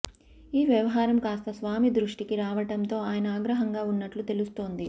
ఈ వ్యవహారం కాస్తా స్వామి దృష్టికి రావడంతో ఆయన ఆగ్రహంగా ఉన్నట్లు తెలుస్తోంది